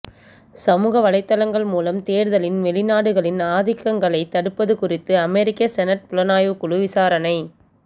சமூக வலைதளங்கள் மூலம் தேர்தலில் வெளிநாடுகளின் ஆதிக்கங்களைத் தடுப்பது குறித்து அமெரிக்க செனட் புலனாய்வுக் குழு விசாரணை